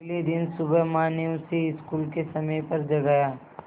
अगले दिन सुबह माँ ने उसे स्कूल के समय पर जगाया